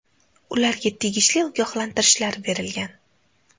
Ularga tegishli ogohlantirishlar berilgan.